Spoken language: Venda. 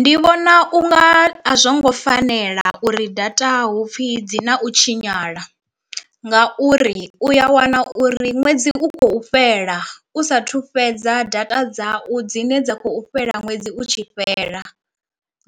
Ndi vhona unga a zwo ngo fanela uri data hupfi dzi na u tshinyala ngauri u a wana uri ṅwedzi u khou fhela u sathu fhedza data dzau dzine dza khou fhela ṅwedzi u tshi fhela,